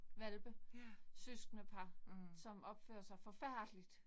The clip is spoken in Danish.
Hvalpe, søskendepar. Som opfører sig forfærdeligt